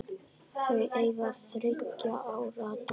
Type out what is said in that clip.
Þau eiga þriggja ára dóttur.